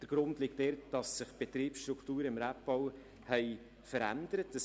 Der Grund liegt darin, dass sich die Betriebsstrukturen im Rebbau verändert haben.